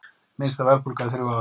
Minnsta verðbólga í þrjú ár